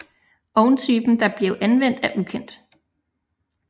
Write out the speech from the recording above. Ovntypen der blev anvendt er ukendt